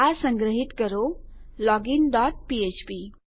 આ સંગ્રહિત કરો લોગિન ડોટ ફ્ફ્પ